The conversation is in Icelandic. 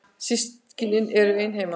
Systkini mín eru ein heima.